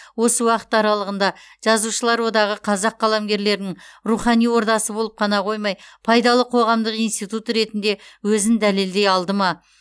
осы уақыт аралығында жазушылар одағы қазақ қаламгерлерінің рухани ордасы болып қана қоймай пайдалы қоғамдық институт ретінде өзін дәлелдей алды ма